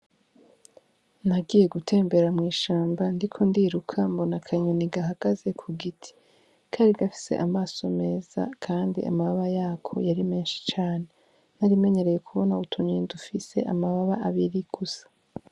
Nagiye gutembera mw'ishamba ndiko ndiruka mbona akanyoni gahagaze ku giti, kari gafise amaso meza kandi amababa yako yari menshi cane, narimenyereye kubona utunyoni dufise amababa abiri gusa.